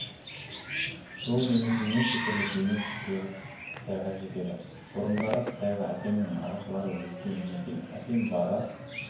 жол-жөнекей неше түрлі бейнет көріп қытайға жетеді бұрындары қытайға әкемнің нағашылары өткен екен әкем бара